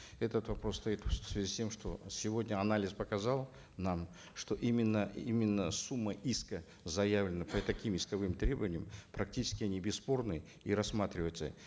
этот вопрос стоит в связи с тем что сегодня анализ показал нам что именно именно сумма иска заявлена по таким исковым требованиям практически они бесспорны и рассматриваются